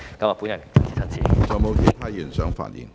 是否有其他議員想發言？